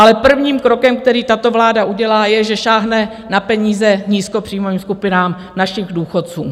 Ale prvním krokem, který tato vláda udělá, je, že sáhne na peníze nízkopříjmovým skupinám našich důchodců.